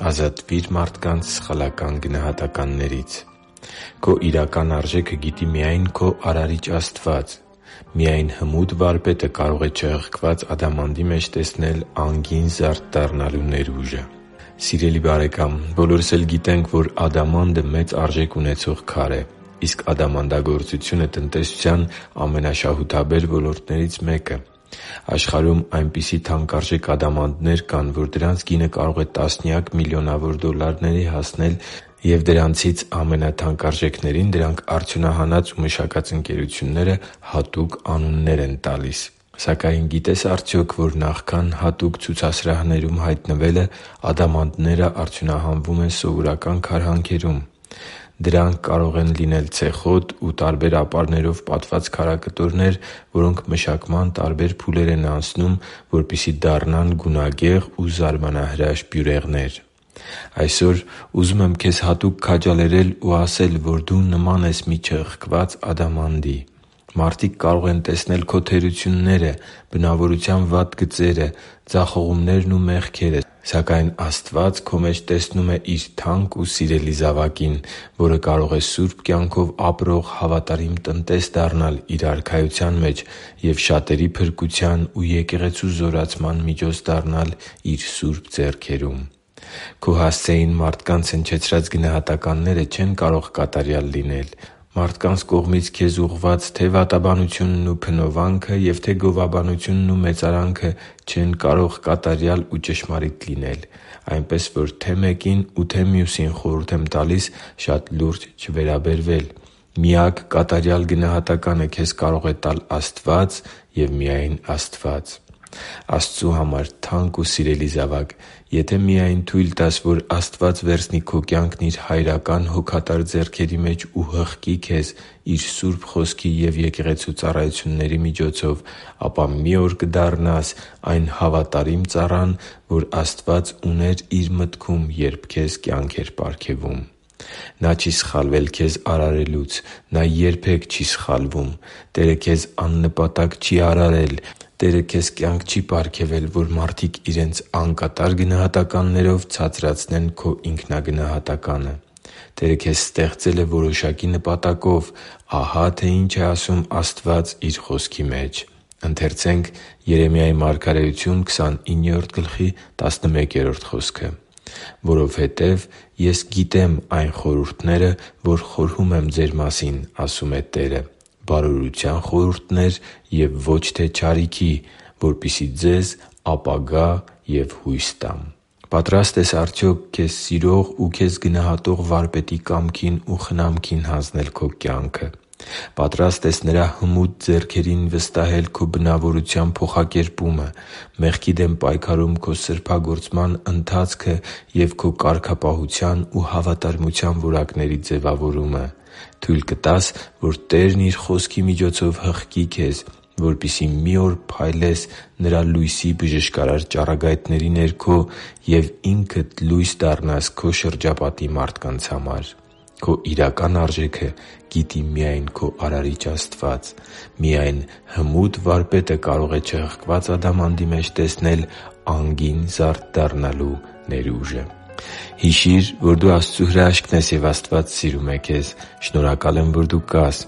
Ազատվի՛ր մարդկանց սխալական գնահատականներից Քո իրական արժեքը գիտի միայն քո Արարիչ Աստված։ Միայն հմուտ Վարպետը կարող է չհղկված ադամանդի մեջ տեսնել անգին զարդ դառնալու ներուժը։ Սիրելի՛ բարեկամ, բոլորս էլ գիտենք, որ ադամանդը մեծ արժեք ունեցող քար է, իսկ ադամանդագործությունը՝ տնտեսության ամենաշահութաբեր ոլորտներից մեկը։ Աշխարհում այնպիսի թանկարժեք ադամանդներ կան, որ դրանց գինը կարող է տասնյակ միլիոնավոր դոլլարների հասնել, և դրանցից ամենաթանկարժեքներին արդյունահանած և մշակած ընկերությունները հատուկ անուններ են տալիս։ Սակայն գիտե՞ս արդյոք, որ նախքան հատուկ ցուցասրահներում հայտնվելը՝ ադամանդները արդյունահանվում են սովորական քարհանքերում։ Դրանք կարող են լինել ցեխոտ ու տարբեր ապարներով պատված քարակտորներ, որոնք մշակման տարբեր փուլեր պետք է անցնեն, որպեսզի դառնան գունագեղ ու զարմանահրաշ բյուրեղներ։ Այսօր ուզում եմ քեզ հատուկ քաջալերել ու ասել, որ դու նման ես մի չհղկված ադամանդի։ Մարդիկ կարող են տեսնել քո թերությունները, բնավորության վատ գծերը, ձախողումներն ու մեղքերը, սակայն Աստված քո մեջ տեսնում է Իր թանկ ու սիրելի զավակին, որը կարող է սուրբ կյանքով ապրող հավատարիմ տնտես դառնալ Իր Արքայության մեջ և շատերի փրկության ու Եկեղեցու զորացման միջոց դառնալ Իր Սուրբ ձեռքերում։ Քո հասցեին մարդկանց գնահատականները չեն կարող կատարյալ լինել։ Մարդկանց կողմից քեզ ուղղված թե՛ վատաբանությունն ու փնովանքը, թե՛ գովաբանությունն ու մեծարանքը չեն կարող կատարյալ ու ճշմարիտ լինել։ Այնպես, որ թե՛ մեկին ու թե՛ մյուսին խորհուրդ եմ տալիս շատ լուրջ չվերաբերվել։ Միակ կատարյալ գնահատականը քեզ կարող է տալ Աստված և միայն Աստված։ Աստծու համար թանկ ու սիրելի՛ զավակ, եթե միայն թույլ տաս, որ Աստված վերցնի քո կյանքն Իր հայրական հոգատար ձեռքերի մեջ ու հղկի քեզ Իր Սուրբ Խոսքի և Եկեղեցու ծառայությունների միջոցով, ապա մի օր կդառնաս այն հավատարիմ ծառան, որ Աստված ուներ Իր մտքում, երբ քեզ կյանք էր պարգևում։ Նա չի՛ սխալվել քեզ արարելուց։ Նա երբե՛ք չի սխալվում։ Տերը քեզ աննպատակ չի արարել։ Տերը քեզ կյանք չի պարգևել, որ մարդիկ իրենց անկատար գնահատականներով ցածրացնեն քո ինքնագնահատականը։ Տերը քեզ ստեղծել է որոշակի նպատակով։ Ահա թե ինչ է ասում Աստված Իր Խոսքի մեջ․ «Որովհետև ես գիտեմ այն խորհուրդները, որ խորհում եմ ձեր մասին,- ասում է Տերը,- բարօրության խորհուրդներ և ոչ թե չարիքի, որպեսզի ձեզ ապագա և հույս տամ» (Երեմիա 29․11)։ Պատրա՞ստ ես արդյոք քեզ սիրող ու քեզ գնահատող Վարպետի կամքին ու խնամքին հանձնել քո կյանքը։ Պատրա՞ստ ես Նրա հմուտ ձեռքերին վստահել քո բնավորության փոխակերպումը, մեղքի դեմ պայքարում քո սրբագործման ընթացքը և քո կարգապահության ու հավատարմության որակների ձևավորումը։ Թույլ կտա՞ս, որ Տերն Իր Խոսքի միջոցով հղկի քեզ, որպեսզի մի օր փայլես Նրա լույսի բժշկարար ճառագայթների ներքո և ինքդ լույս դառնաս քո շրջապատի մարդկանց համար։ Քո իրական արժեքը գիտի միայն քո Արարիչ Աստված։ Միայն հմուտ Վարպետը կարող է չհղկված ադամանդի մեջ տեսնել անգին զարդ դառնալու ներուժը։ Հիշի՛ր, որ դու Աստծո հրաշքն ես, և Աստված սիրում է քեզ։ Շնորհակալ եմ, որ դու կա՛ս